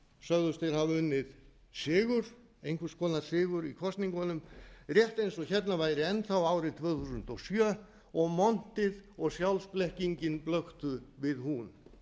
sögðust þeir hafa unnið sigur einhvers konar sigur í kosningunum rétt eins og hérna væri enn þá árið tvö þúsund og sjö og montið og sjálfsblekkingin blöktu við hún